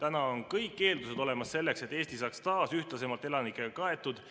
On olemas kõik eeldused selleks, et Eesti saaks taas ühtlasemalt elanikega kaetud.